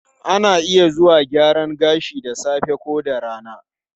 Ana iya zuwa gyaran gashi da safe ko da rana.